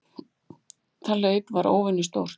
Það hlaup var óvenju stórt.